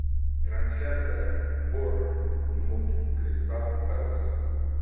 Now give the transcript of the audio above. трансляция борнмут кристал пэлас